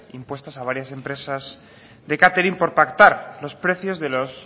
impuestas a varias empresas de catering por pactar los precios de los